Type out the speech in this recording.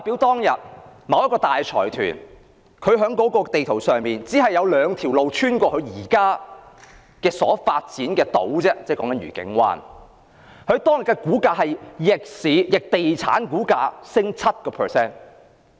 當年某計劃公布時，在圖則上有兩條路貫通某大財團所發展的愉景灣，而當天該財團的股價便逆地產股價上升 7%。